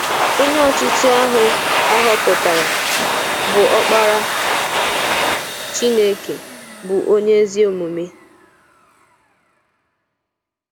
Ónyé Ọchịchị áhụ á họọpụtárá, bụ́ Ọ́kpárá Chínekè, bụ́ ónyé ézí ómúmé.